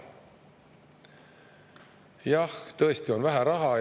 Jah, tõesti on vähe raha.